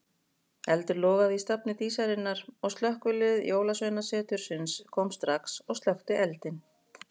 Eldur logaði í stafni Dísarinnar og slökkvilið Jólasveinasetursins kom strax og slökkti eldinn.